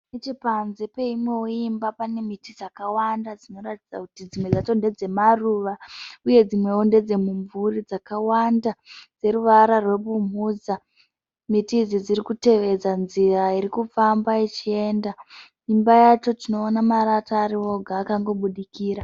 Nepanze peimwewo imba pane miti dzakawanda dzinoratidza kuti dzimwe dzacho ndedzemaruva uye dzimwewo ndedze mumvuri dzakawanda dzeruvara rwebumhudza. Miti idzi dzirikutevedza nzira iri kufamba ichienda. Imba yacho tinoona marata arioga akangoburikira.